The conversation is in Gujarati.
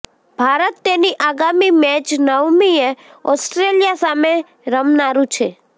ભારત તેની આગામી મેચ નવમીએ ઓસ્ટ્રેલિયા સામે રમનારું છે